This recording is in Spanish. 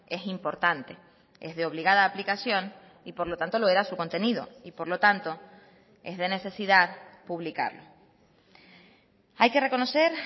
es importante es de obligada aplicación y por lo tanto lo era su contenido y por lo tanto es de necesidad publicarlo hay que reconocer